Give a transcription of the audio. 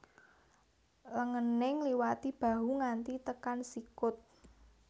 Lengene ngliwati bahu nganti tekan sikut